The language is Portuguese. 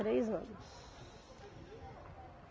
Três anos.